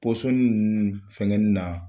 ninnu fɛngɛni na.